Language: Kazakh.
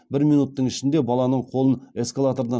бір минуттың ішінде баланың қолын эскалатордан